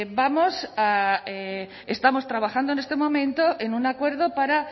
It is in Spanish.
estamos trabajando en este momento en un acuerdo para